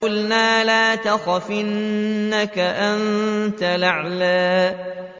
قُلْنَا لَا تَخَفْ إِنَّكَ أَنتَ الْأَعْلَىٰ